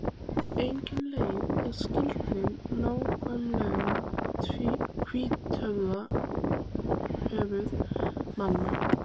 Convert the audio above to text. Engin leið er að skilgreina nákvæmlega hvítuþörf manna.